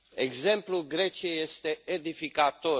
Exemplul Greciei este edificator.